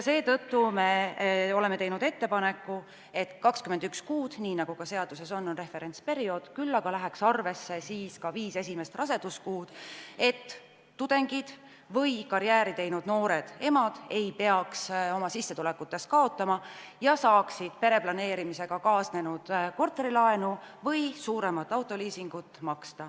Seetõttu me oleme teinud ettepaneku, et 21 kuud, nii nagu ka seaduses on, oleks referentsperiood, küll aga läheks arvesse ka viis esimest raseduskuud, et tudengid või karjääri teinud noored emad ei peaks oma sissetulekutes kaotama ja saaksid pereplaneerimisega kaasnenud korterilaenu või suuremat autoliisingut maksta.